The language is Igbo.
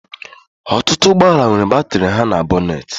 Ọtụtụ ụgbọ ala nwere batrị ha na bonate